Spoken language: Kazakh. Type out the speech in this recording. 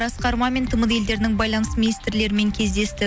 асқар мамин тмд елдерінің байланыс министрлерімен кездесті